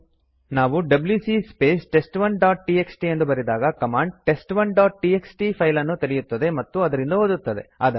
ನಾವು W C space test1ಡಾಟ್ TXT ಎಂದು ಬರೆದಾಗ ಕಮಾಂಡ್ test1ಡಾಟ್ ಟಿಎಕ್ಸ್ಟಿ ಫೈಲ್ ಅನ್ನು ತೆರೆಯುತ್ತದೆ ಮತ್ತು ಅದರಿಂದ ಓದುತ್ತದೆ